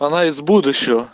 она из будущего